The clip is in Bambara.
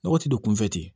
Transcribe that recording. Nɔgɔ ti don kunfɛ ten